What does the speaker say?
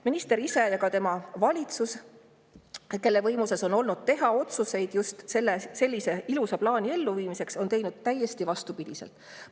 Minister ise ja valitsus, kelle võimuses on olnud teha otsuseid just sellise ilusa plaani elluviimiseks, on aga teinud täiesti vastupidist.